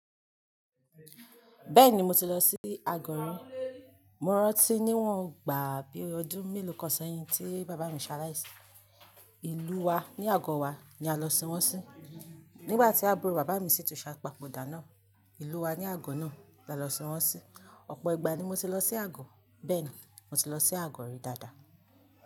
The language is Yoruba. Bẹ́ẹ̀ni mo ti lọ sí Agọ̀ rì, mo rántí níwòn gbàá bí ọdún mélòó kan sẹ́yìn tí bàbá mi ṣaláìsí, ìlú wa ní àgọ́ wa ni a lọ sin wọ́n sí. Nígbà tí àbúrò bàbá mi sì tún ṣe àpodà náà, ìlú wa ní àgọ́ náà la lọ sin wọ́n sí, ọ̀pọ̀ ìgbà ni mo ti lọ sí àgọ́. Bẹ́ẹ̀ni, mo ti lọ sí àgọ́ rì dáadáa.